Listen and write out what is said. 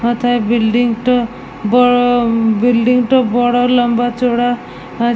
ওথায় building -টা বা building -টা বড় লম্বা চওড়া আ--